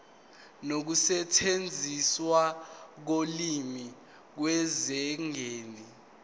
nokusetshenziswa kolimi kusezingeni